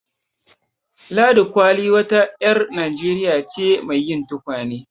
Ladi Kwalli wa ta ƴar Najeriya ce mai yin tukwane.